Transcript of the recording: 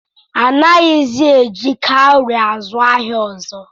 A naghịzi̻ eji kaụrị azu ahịa ọzọ.